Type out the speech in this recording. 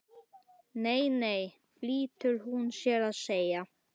Nei, nei flýtir hún sér að segja.